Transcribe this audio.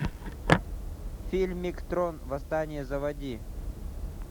фильмик трон восстание заводи